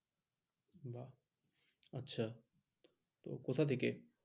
আচ্ছা কোথা থেকে?